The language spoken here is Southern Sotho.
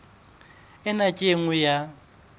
ena ke e nngwe ya